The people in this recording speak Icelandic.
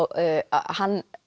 hann